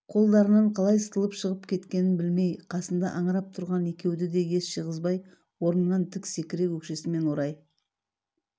қолдарынан қалай сытылып шығып кеткенін білмей қасында аңырып тұрған екеуді де ес жиғызбай орнынан тік секіре өкшесімен орай